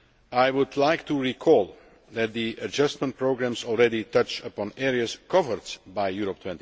I would like to recall that the adjustment programmes already touch on areas covered by Europe